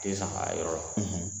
Tɛ zan ka yɔrɔ dɔn